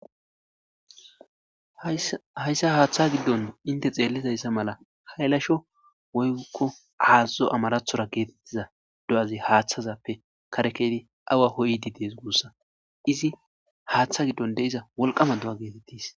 Hayssa haaththa giddon intte xeelidayssa mala haylasho woyko aazo amarathon geetetiza do'azi haaththazappe kare keyiddi awa koyidi de'es gussa.izi haaththa giddon wolqamma do'a gettetrs.